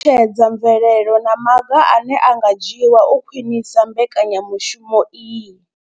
I ṱalutshedza mvelelo na maga ane a nga dzhiwa u khwinisa mbekanya mushumo iyi.